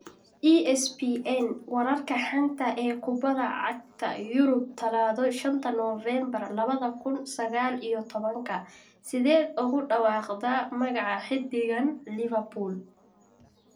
(ESPN) Wararka xanta ah ee Kubadda Cagta Yurub Talaado shanta Novembaar labada kuun sagaal iyo tobanka Sideed ugu dhawaaqdaa magaca xiddigan Liverpool?